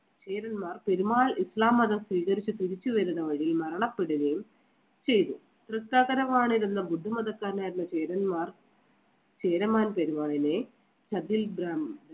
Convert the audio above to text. ചേരന്മാർ പെരുമാൾ ഇസ്ലാം മതം സ്വീകരിച്ച് തിരിച്ച് വരുന്ന വഴി മരണപ്പെടുകയും ചെയ്തു. തൃക്കാക്കര വാണിരുന്ന ബുദ്ധമതക്കാരനായിരുന്ന ചേരന്മാർ ചേരമാൻ പെരുമാളിനെ ബ്രാഹ്മണ~